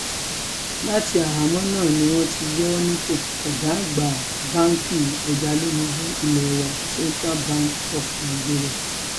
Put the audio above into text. láti àhámọ́ náà ni wọ́n ti yọ ọ́ nípò ọ̀gá àgbà báǹkì ẹjalónìbù ilé wa central bank of nigeria